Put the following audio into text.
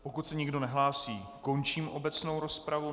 Pokud se nikdo nehlásí, končím obecnou rozpravu.